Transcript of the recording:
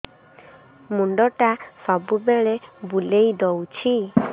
ମୁଣ୍ଡଟା ସବୁବେଳେ ବୁଲେଇ ଦଉଛି